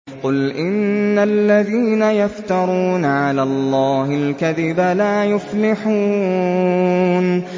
قُلْ إِنَّ الَّذِينَ يَفْتَرُونَ عَلَى اللَّهِ الْكَذِبَ لَا يُفْلِحُونَ